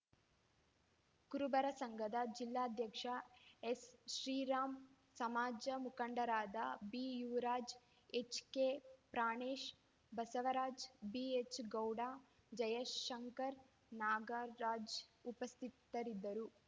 ಕುರುಬರ ಸಂಘದ ಜಿಲ್ಲಾಧ್ಯಕ್ಷ ಎಸ್‌ಶ್ರೀರಾಮ್‌ ಸಮಾಜದ ಮುಖಂಡರಾದ ಬಿಯುವರಾಜ್‌ ಎಚ್‌ಕೆ ಪ್ರಾಣೇಶ್‌ ಬಸವರಾಜ್‌ ಬಿಎಚ್‌ ಗೌಡ ಜಯಶಂಕರ್‌ ನಾಗರಾಜ್‌ ಉಪಸ್ಥಿತರಿದ್ದರು